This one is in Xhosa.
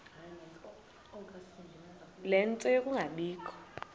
ie nto yokungabikho